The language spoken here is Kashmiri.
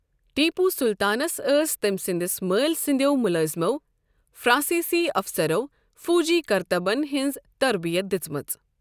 ٹیپوُ سلطانس ٲس تٔمۍ سندِس مٲلۍ سندیو ملٲزمو فر٘انسیسی افسرو٘ فوجی كرتبن ہنز تربِیت دِژمٕژ ۔